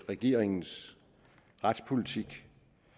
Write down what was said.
regeringens retspolitik